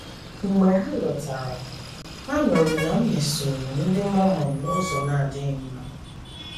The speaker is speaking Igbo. Mgbe ha lọtara, ha nụrụ na m mesoro ndị Mormon n’ụzọ na - adịghị mma.